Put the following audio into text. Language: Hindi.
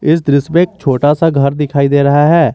इस दृश्य में एक छोटा सा घर दिखाई दे रहा है।